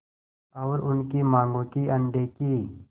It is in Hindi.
और उनकी मांगों की अनदेखी